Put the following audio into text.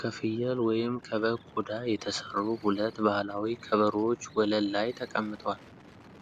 ከፍየል ወይም ከበግ ቆዳ የተሰሩ ሁለት ባህላዊ ከበሮዎች ወለል ላይ ተቀምጠዋል።